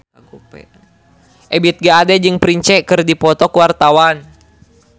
Ebith G. Ade jeung Prince keur dipoto ku wartawan